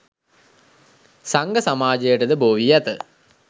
සංඝ සමාජයට ද බෝ වී ඇත